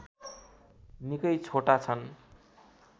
निकै छोटा छन्